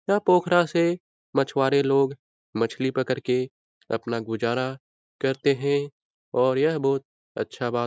यह पोखरा से मछवारे लोग मछली पकड़ कर के अपना गुजारा करते है और यह बहुत अच्छा बात --